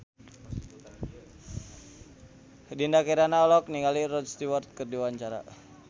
Dinda Kirana olohok ningali Rod Stewart keur diwawancara